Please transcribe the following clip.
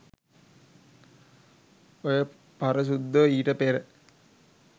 ඔය පරසුද්දෝ ඊට පෙර